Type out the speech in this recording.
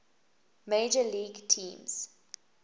major league teams